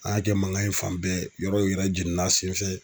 A y'a kɛ mankan ye fan bɛɛ yɔrɔw yɛrɛ jeninna senfɛ.